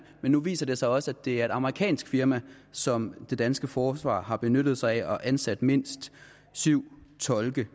nu viser det sig også at det er et amerikansk firma som det danske forsvar har benyttet sig af og ansat mindst syv tolke